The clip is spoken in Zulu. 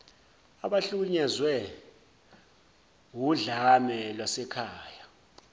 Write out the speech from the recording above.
abahlukunyezwe wudlame lwasekhaya